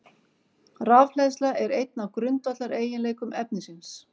Rafhleðsla er einn af grundvallareiginleikum efnisins.